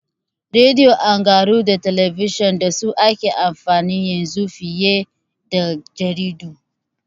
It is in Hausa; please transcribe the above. Radi'o, tangaraho da talabijin dasu ake amfani yanzu fiye jaridu